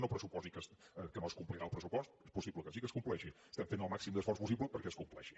no pressuposi que no es complirà el pressupost és possible que sí que es compleixi estem fent el màxim d’esforç possible perquè es compleixi